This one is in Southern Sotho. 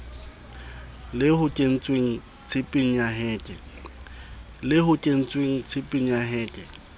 le hoketsweng tshepeng ya heke